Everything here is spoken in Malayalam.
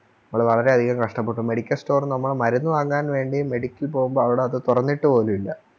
വളരെയധികം കഷ്ട്ടപ്പെട്ടു Medical store നമ്മള് മരുന്ന് വാങ്ങാൻ വേണ്ടി Medic ക്ക് പോകുമ്പോ അവിടെ അത് തൊറന്നിട്ടു പോലുല്ല